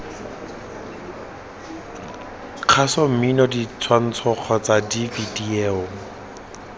kgaso mmino ditshwantsho kgotsa divideyo